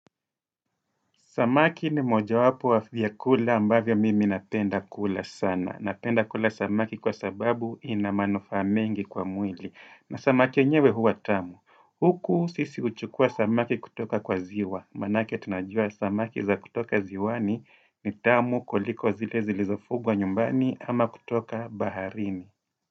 Samaki ni mojawapo wa vyakula ambavyo mimi napenda kula sana. Napenda kula samaki kwa sababu ina manufaa. Mengi kwa mwili. Na samaki nyewe huwa tamu. Huku sisi uchukua samaki kutoka kwa ziwa. Manake tunajua samaki za kutoka ziwani ni tamu kuliko zile zilizofugwa nyumbani ama kutoka baharini.